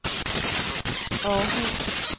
Århus